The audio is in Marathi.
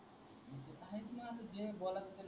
जे बोलाच